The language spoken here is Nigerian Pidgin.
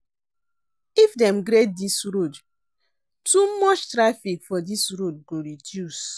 If dem grade dis road, too much traffic for dis road go reduce.